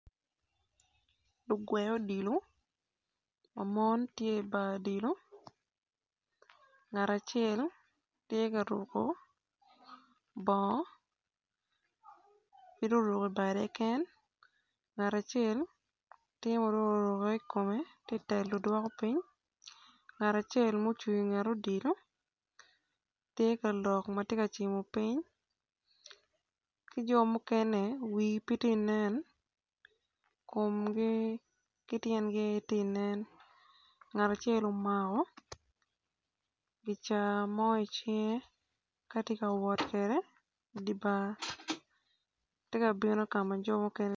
Lugwe odilo ma ma mon tye i bar odilo nagt acel tye ka ruko bongo ngat acel tye pud oruko ibade keken ngat acel tye ma dong oruko i kome tye ka telo dwoko piny ngat acel ma ocung inget odilo tye ka lok ma tye ka cimo piny ki jo mukene wigi pe ti nen komgi ki tyengi keken aye tye inen ngat acel omako gicaa mo icinge ka tye ka wot kwede idi bar tye ka bino ka ma jo mukene